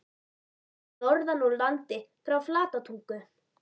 Ég kem norðan úr landi- frá Flatatungu.